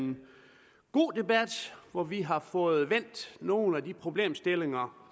en god debat hvor vi har fået vendt nogle af de problemstillinger